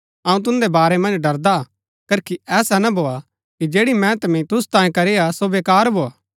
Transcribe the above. अऊँ तुदैं बारै मन्ज ड़रदा हा करखी ऐसा ना भोआ कि जैड़ी मेहनत मैंई तुसु तांयें करीआ सो बेकार भोआ